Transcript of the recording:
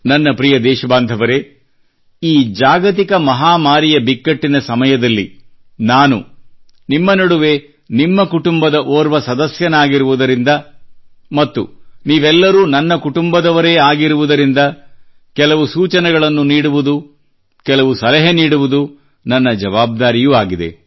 ನನ್ನ ಪ್ರೀತಿಯ ದೇಶ ಬಾಂಧವರೆ ಈ ಜಾಗತಿಕ ಮಹಾಮಾರಿಯ ಬಿಕ್ಕಟ್ಟಿನ ಸಮಯದಲ್ಲಿ ನಾನು ನಿಮ್ಮ ನಡುವೆ ನಿಮ್ಮ ಕುಟುಂಬದ ಓರ್ವ ಸದಸ್ಯನಾಗಿರುವುದರಿಂದ ಮತ್ತು ನೀವೆಲ್ಲರೂ ನನ್ನ ಕುಟುಂಬದವರೇ ಆಗಿರುವುದರಿಂದ ಕೆಲವು ಸೂಚನೆಗಳನ್ನು ನೀಡುವುದು ಕೆಲವು ಸಲಹೆ ನೀಡುವುದು ನನ್ನ ಜವಾಬ್ದಾರಿಯೂ ಆಗಿದೆ